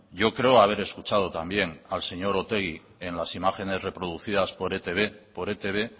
yo creo haber escuchado también al señor otegi en las imágenes reproducidas por etb por etb